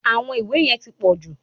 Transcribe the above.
Àwọn ìwé yẹn ti pọ̀jù.